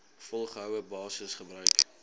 volgehoue basis gebruik